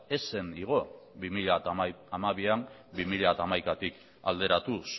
ez zen igo bi mila hamabian bi mila hamaikatik alderatuz